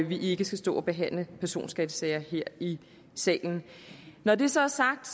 vi ikke skal stå og behandle personskattesager her i salen når det så er sagt